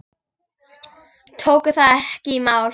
Tóku það ekki í mál.